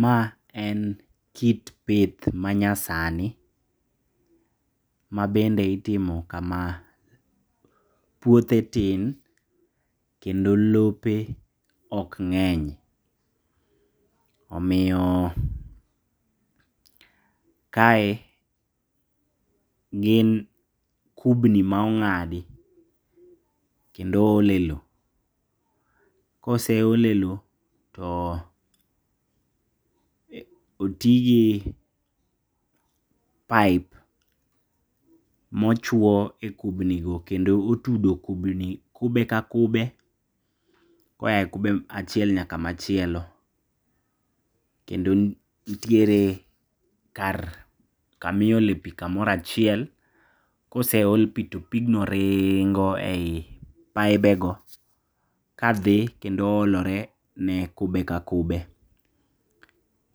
Ma en kit pith manyasani, mabende itimo kama. Puodhe tin kendo lope okng'eny, omiyo kae gin kubni maong'adi kendo oole lo. Koseole lo to otigi pipe mochuo e kubni go kendo otudo kubni kube ka kube koaye kube achiel nyaka machielo, kendo ntiere kar kamiole pii kamoro achiel. Koseol pii to pigno ringo ei paibe go kadhi kendo olore ne kube ka kube,